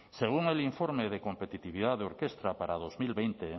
según el informe de competitividad de orkestra para dos mil veinte